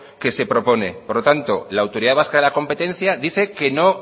que se propone por lo tanto la autoridad vasca de la competencia dice que no